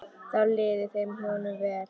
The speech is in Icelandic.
Þá liði þeim hjónum vel.